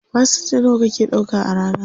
Fasenja nawa kake ɗauka a rana?